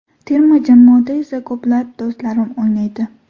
Terma jamoada esa ko‘plab do‘stlarim o‘ynaydi.